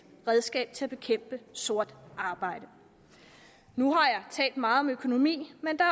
redskab til at bekæmpe sort arbejde nu har jeg talt meget om økonomi men der